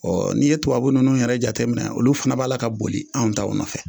Ɔ n'i ye tubabu ninnu yɛrɛ jateminɛ olu fana b'a la ka boli anw taw nɔfɛ